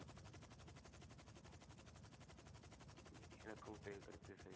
எனக்கும் தெளிவு கிடைச்சுது சதீஷ்